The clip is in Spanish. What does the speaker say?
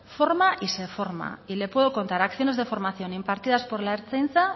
forma y se forma y le puedo contar acciones de formación impartidas por la ertzaintza